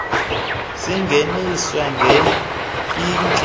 zingeniswe nge inki